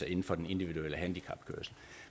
inden for den individuelle handicapkørsel